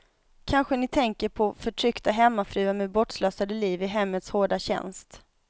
Kanske ni tänker på förtryckta hemmafruar med bortslösade liv i hemmets hårda tjänst.